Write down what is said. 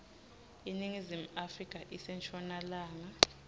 iningizimu afrika ise nshonalanga